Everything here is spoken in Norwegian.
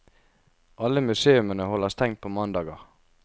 Alle museumene holder stengt på mandager.